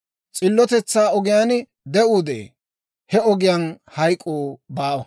S'illotetsaa ogiyaan de'uu de'ee; he ogiyaan hayk'k'uu baawa.